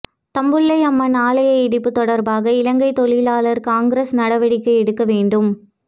தம்புள்ளை அம்மன் ஆலய இடிப்பு தொடர்பாக இலங்கை தொழிலாளர் காங்கிரஸ் நடவடிக்கை எடுக்க வேண்டும்